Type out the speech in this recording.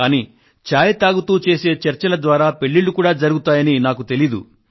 కానీ చాయ్ తాగుతూ చేసే చర్చల ద్వారా పెళ్ళిళ్ళు కూడా జరుగుతాయని నాకు తెలియదు